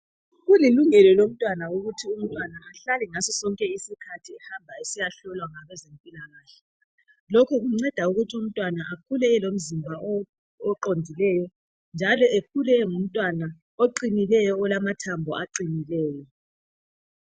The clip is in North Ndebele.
Kulilungelo lomntwanana ukuthi umntwana ahlale ngaso sonke isikhathi sonke ehambe esiyahlolwa ngabezempilakahle lokhu kunceda ukuthi umntwana akhule elomzimba oqondileyo njalo akhule engumntwana oqinileyo olamathambo aqinileyo